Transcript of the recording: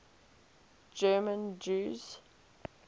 german jews